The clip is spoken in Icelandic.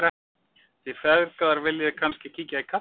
Þið feðgar viljið kannski kíkja í kaffi?